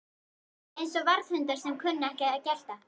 Eins og varðhundar sem kunna ekki að gelta